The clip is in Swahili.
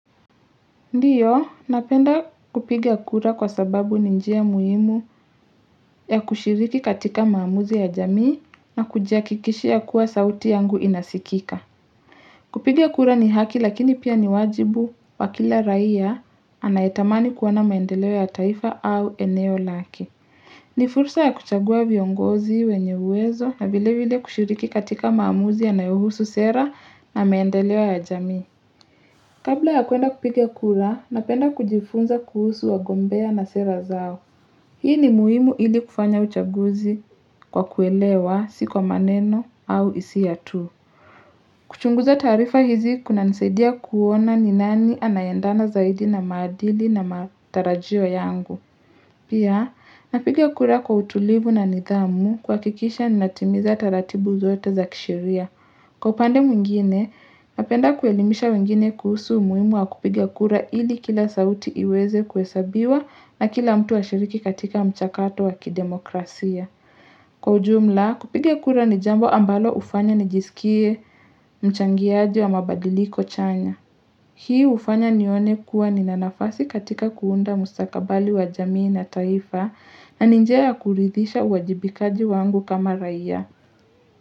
Ndiyo, napenda kupiga kura kwa sababu ni njia muhimu ya kushiriki katika maamuzi ya jamii na kujia hakikishia kuwa sauti yangu inasikika. Kupigia kura ni haki lakini pia ni wajibu wa kila raia anayetamani kuoana maendeleo ya taifa au eneo lake. Ni fursa ya kuchagua viongozi wenye uwezo na vile vile kushiriki katika maamuzi yanayo husu sera na maendeleo ya jamii. Kabla ya kuenda kupigia kura, napenda kujifunza kuhusu wagombea na sera zao. Hii ni muhimu ili kufanya uchaguzi kwa kuelewa, si kwa maneno au hisia tu. Kuchunguza taarifa hizi kuna nisaidia kuona ni nani anayeandana zaidi na madili na matarajio yangu. Pia, napigia kura kwa utulivu na nidhamu kuhakikisha ninatimiza taratibu zote za kisheria. Kwa upande mwingine, napenda kuelimisha wengine kuhusu umuhimu wa kupiga kura ili kila sauti iweze kuhesabiwa na kila mtu ashiriki katika mchakato wa kidemokrasia. Kwa ujumla, kupiga kura ni jambo ambalo hufanya ni jisikie mchangiaji wa mabadiliko chanya. Hii hufanya nione kuwa nina nafasi katika kuunda mustakabali wa jamii na taifa na ni njia ya kuridhisha uwajibikaji wangu kama raia.